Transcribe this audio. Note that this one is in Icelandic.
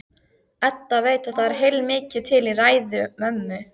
Edda veit að það er heilmikið til í ræðu mömmu.